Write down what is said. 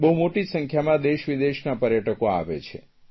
બહુ મોટી સંખ્યામાં દેશવિદેશના પર્યટકો આવે છે